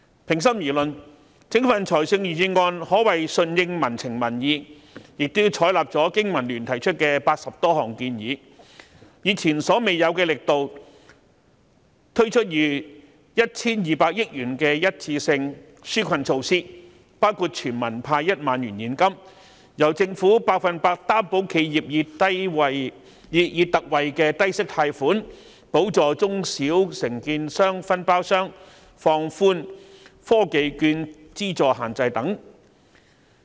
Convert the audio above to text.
平心而論，整份預算案可謂順應民情民意，亦採納香港經濟民生聯盟提出的80多項建議，以前所未有的力度，推出逾 1,200 億元的一次性紓困措施，包括全民派1萬元現金、由政府百分之一百擔保企業以特惠的低息貸款，補助中小承建商、分包商和放寬科技券資助限制等。